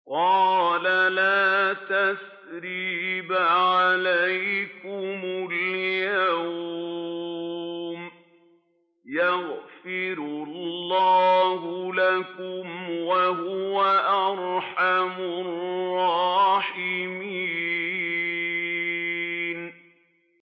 قَالَ لَا تَثْرِيبَ عَلَيْكُمُ الْيَوْمَ ۖ يَغْفِرُ اللَّهُ لَكُمْ ۖ وَهُوَ أَرْحَمُ الرَّاحِمِينَ